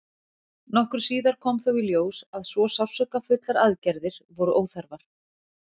Nokkru síðar kom þó í ljós að svo sársaukafullar aðgerðir voru óþarfar.